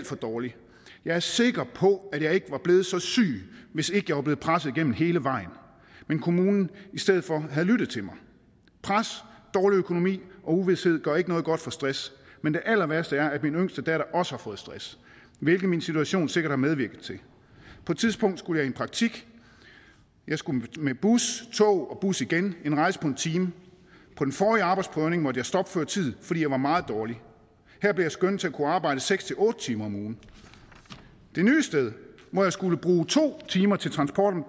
for dårlig jeg er sikker på at jeg ikke var blevet så syg hvis ikke jeg var blevet presset igennem hele vejen men kommunen i stedet for havde lyttet til mig pres dårlig økonomi og uvished gør ikke noget godt for stress men det allerværste er at min yngste datter også har fået stress hvilket min situation sikkert har medvirket til på et tidspunkt skulle jeg i praktik jeg skulle med bus tog og bus igen en rejse på en time på den forrige arbejdsprøvning måtte jeg stoppe før tid fordi jeg var meget dårlig her blev jeg skønnet til at kunne arbejde seks til otte timer om ugen det nye sted hvor jeg skulle bruge to timer til transport om